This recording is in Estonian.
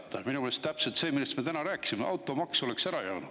Minu meelest oleks see olnud täpselt see, millest me täna rääkisime: automaks oleks ära jäänud.